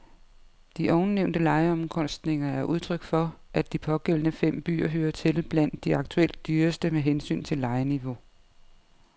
De ovennævnte lejeomkostninger er udtryk for, at de pågældende fem byer hører til blandt de aktuelt dyreste med hensyn til lejeniveau.